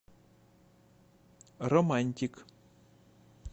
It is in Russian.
романтик